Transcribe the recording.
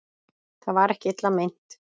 Það var ekki illa meint.